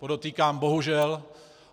Podotýkám bohužel.